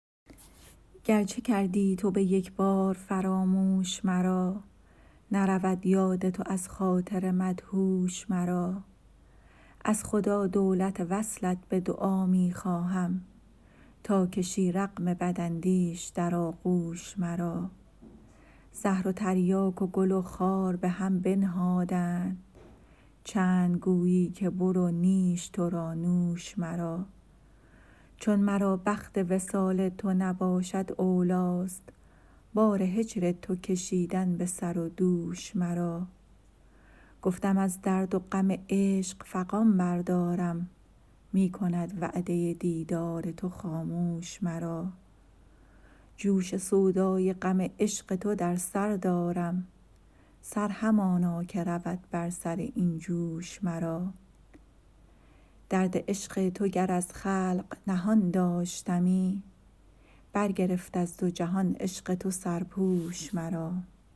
گر چه کردی تو به یک بار فراموش مرا نرود یاد تو از خاطر مدهوش مرا از خدا دولت وصلت به دعا می خواهم تا کشی رغم بداندیش در آغوش مرا زهر و تریاک و گل و خار به هم بنهادند چند گویی که برو نیش تو را نوش مرا چون مرا بخت وصال تو نباشد اولیست بار هجر تو کشیدن به سر و دوش مرا گفتم از درد و غم عشق فغان بردارم می کند وعده دیدار تو خاموش مرا جوش سودای غم عشق تو در سر دارم سر همانا که رود بر سر این جوش مرا درد عشق تو گر از خلق نهان داشتمی برگرفت از دو جهان عشق تو سرپوش مرا